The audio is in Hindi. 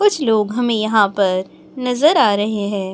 कुछ लोग हमे यहां पर नजर आ रहे हैं।